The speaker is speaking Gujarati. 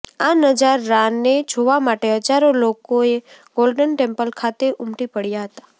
આ નજારાને જોવા માટે હજારો લોકોએ ગોલ્ડન ટેમ્પલ ખાતે ઉમટી પડ્યા હતા